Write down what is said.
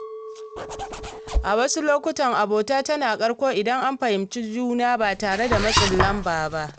A wasu lokuta, abota tana karko idan an fahimci juna ba tare da matsin lamba ba.